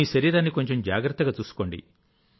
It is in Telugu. మీ శరీరాన్ని కొంచెం జాగ్రత్తగా చూసుకోండి